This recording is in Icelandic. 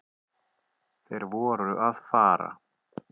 Þeir voru að fara.